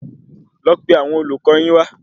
Lọ pe àwọn olùkọ yín wa